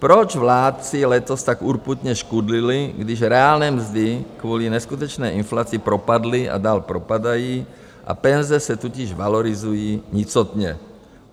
Proč vládci letos tak urputně škudlili, když reálné mzdy kvůli neskutečné inflaci propadly a dál propadají a penze se totiž valorizují nicotně?